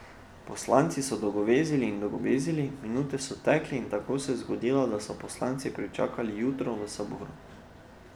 Poslanci so dolgovezili in dolgovezili, minute so tekle in tako se je zgodilo, da so poslanci pričakali jutro v saboru.